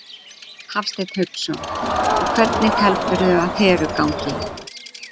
Hafsteinn Hauksson: Og hvernig heldurðu að Heru gangi?